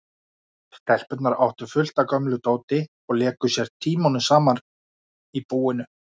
Stelpurnar áttu fullt af gömlu dóti og léku sér tímunum saman í búinu.